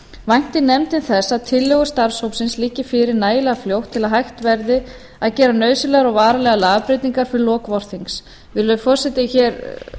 væntir nefndin þess að tillögur starfshópsins liggi fyrir nægilega fljótt til að hægt verði að gera nauðsynlegar og varanlegar lagabreytingar til loka vorsins virðulegi forseti hér